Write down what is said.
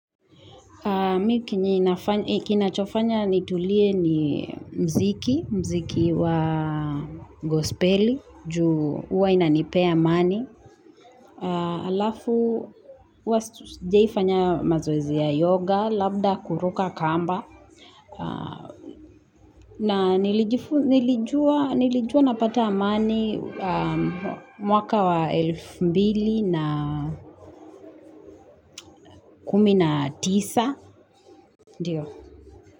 Mi kinachofanya nitulie ni mziki, mziki wa gospeli, juu huwa inanipea amani, halafu wastu sijawaifanya mazoezi ya yoga, labda kuruka kamba, na nilijua napata amani mwaka wa elfu mbili na kumi na tisa.